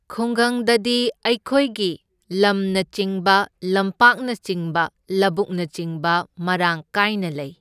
ꯈꯨꯡꯒꯪꯗꯗꯤ ꯑꯩꯈꯣꯏꯒꯤ ꯂꯝꯅꯆꯤꯡꯕ ꯂꯝꯄꯥꯛꯅꯆꯤꯡꯕ ꯂꯕꯨꯛꯅꯆꯤꯡ ꯃꯔꯥꯡ ꯀꯥꯏꯅ ꯂꯩ꯫